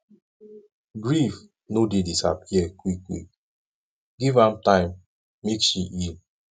grief no dey disappear quickquick give am time make she heal